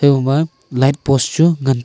habo ma lightpost chu ngan taiya.